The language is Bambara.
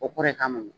O kɔrɔ ye ka mɔn